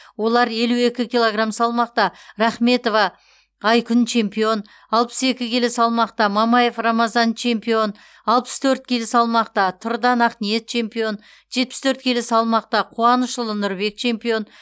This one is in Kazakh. олар елу екі килограмм салмақта рахметова айкүн чемпион алпыс екі келі салмақта мамаев рамазан чемпион алпыс төрт келі салмақта тұрдан ақниет чемпион жетпіс төрт келі салмақта қуанышұлы нұрбек чемпион